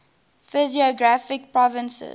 physiographic provinces